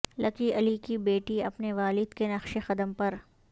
لکی علی کی بیٹی اپنے والد کے نقش قدم پر